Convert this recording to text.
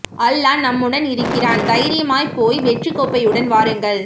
அல்லாஹ் நம்முடன் இருக்கிறான் தைரியமா போய் வெற்றி கோப்பை உடன் வாருங்கள்